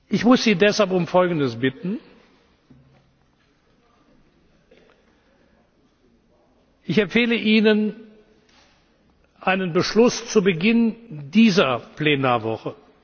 kann. Ich muss Sie deshalb um Folgendes bitten Ich empfehle Ihnen einen Beschluss zu Beginn dieser Plenarwoche.